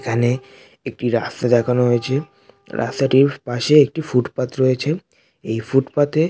এখানে একটি রাস্তা দেখানো হয়েছে রাস্তাটির পাশে একটি ফুটপাত রয়েছে এই ফুটপাত এ--